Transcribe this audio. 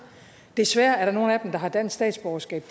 desværre er der nogen af dem der har dansk statsborgerskab